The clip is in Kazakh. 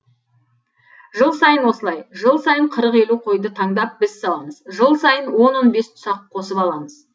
жыл сайын осылай жыл сайын қырық елу қойды таңдап біз сауамыз жыл сайын он он бес тұсақ қосып аламыз